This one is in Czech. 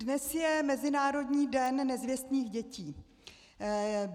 Dnes je Mezinárodní den nezvěstných dětí.